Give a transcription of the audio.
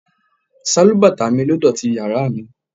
Sálúbàtà mi ló dọ̀tí yàrá mi.